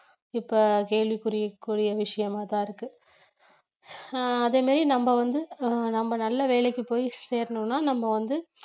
இப்ப கேள்விக்குரிய ~குரிய விஷயமாதான் இருக்கு ஆஹ் அதே மாதிரி நம்ம வந்து ஆஹ் நம்ம நல்ல வேலைக்கு போய் சேரணும்னா நம்ம வந்து